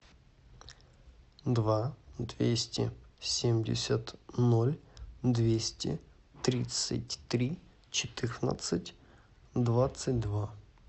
два двести семьдесят ноль двести тридцать три четырнадцать двадцать два